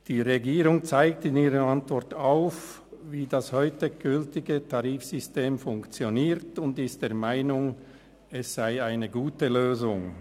Die Regierung zeigt in ihrer Antwort auf, wie das heute gültige Tarifsystem funktioniert und ist der Meinung, es sei eine gute Lösung.